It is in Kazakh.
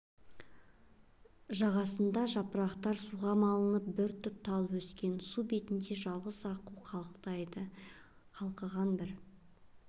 жағасында жапырағы суға малынып бір түп тал өскен су бетінде жалғыз аққу қалықтайды қалқыған бір